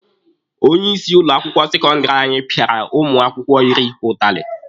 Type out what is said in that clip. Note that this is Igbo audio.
Onye isi ụlọ akwụkwọ sekọndịrị anyị pịara ụmụ akwụkwọ iri ụtalị.